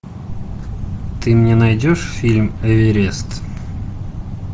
ты мне найдешь фильм эверест